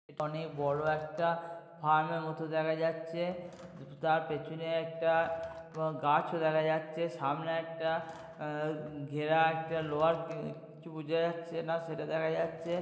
অনেক বড়ো একটা ফার্ম এর মতো দেখা যাচ্ছে তা-তা-তার পেছনে একটা এবং গাছও দেখা যাচ্ছে সামনে একটা উম ঘেরা-- একটা লোহার কি-কিছু বোঝা যাচ্ছে না সেটা দেখা যাচ্ছে।